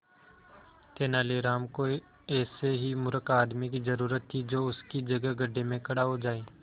तेनालीराम को ऐसे ही मूर्ख आदमी की जरूरत थी जो उसकी जगह गड्ढे में खड़ा हो जाए